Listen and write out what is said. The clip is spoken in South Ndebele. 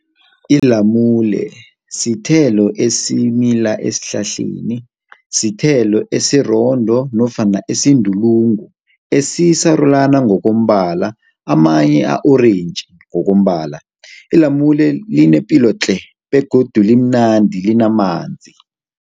Ilamule sithelo esimila esihlahleni. Sithelo esirondo nofana esindulungu esisarulana ngokombala, amanye a-orentji ngokombala. Ilamule linepilo tle. Begodu limnandi linamanzi.